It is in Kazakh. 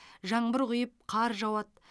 жаңбыр құйып қар жауады